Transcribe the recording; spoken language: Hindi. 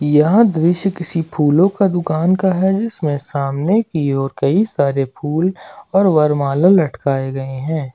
यहा दृश्य किसी फूलों का दुकान का है जिसमे सामने की ओर कई सारे फूल और वरमाला लटकाए गए है।